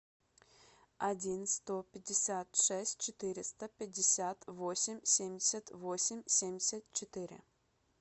один сто пятьдесят шесть четыреста пятьдесят восемь семьдесят восемь семьдесят четыре